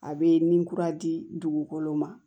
A bɛ ni kura di dugukolo ma